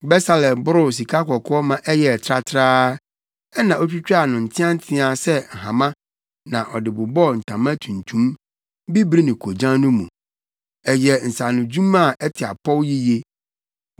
Besaleel boroo sikakɔkɔɔ ma ɛyɛɛ tratraa, ɛnna otwitwaa no nteanteaa sɛ hama na ɔde bobɔɔ ntama tuntum, bibiri ne koogyan no mu. Ɛyɛ nsaanoadwuma a ɛte apɔw yiye.